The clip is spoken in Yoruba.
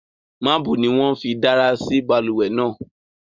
Marble ni won fí dárà sí balùwè náà